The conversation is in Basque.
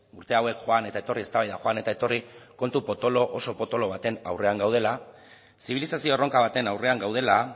urte hauek joan eta etorri eztabaida joan eta etorri kontu potolo oso potolo baten aurrean gaudela zibilizazio erronka baten aurrean gaudela